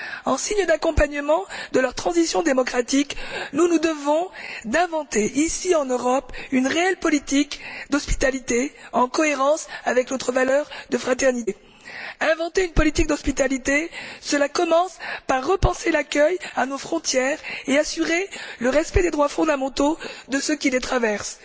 En guise d'accompagnement de leur transition démocratique, nous nous devons d'inventer, ici en Europe, une réelle politique d'hospitalité, qui soit cohérente avec notre valeur de fraternité. Inventer une politique d'hospitalité, cela commence par repenser l'accueil à nos frontières et assurer le respect des droits fondamentaux de ceux qui les traversent.